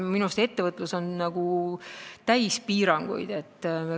Minu meelest on ettevõtlus piiranguid täis.